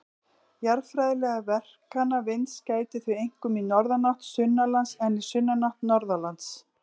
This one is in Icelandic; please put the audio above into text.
Jarðfræðilegra verkana vinds gætir því einkum í norðanátt sunnanlands en í sunnanátt norðanlands.